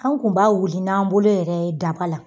Anw kun b'a wuli n'an bolo yɛrɛ ye daba la